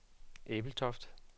Ebeltoft